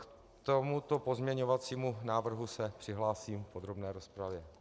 K tomuto pozměňovacímu návrhu se přihlásím v podrobné rozpravě.